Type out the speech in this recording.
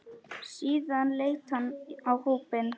Síðan leit hann á hópinn.